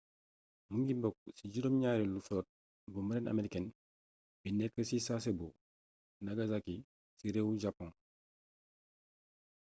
mingi bokk ci juróom ñaareelu flotte bu marine américaine bi nekk ci sasebo nagasaki ci réewum japon